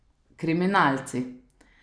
Kriminalci.